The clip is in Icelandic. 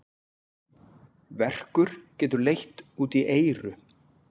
Verkur getur leitt út í eyru.